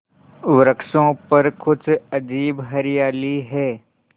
वृक्षों पर कुछ अजीब हरियाली है